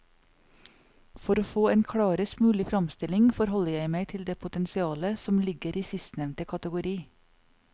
For å få en klarest mulig fremstilling forholder jeg meg til det potensialet som ligger i sistnevnte kategori.